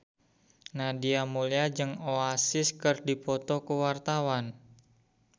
Nadia Mulya jeung Oasis keur dipoto ku wartawan